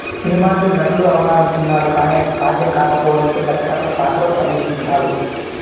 సినిమాల్లో నటుడు అవ్వాలనుకున్నాడు కానీ అది సాధ్యం కాకపోవడంతో దర్శకత్వ శాఖలో ప్రవేశించాడు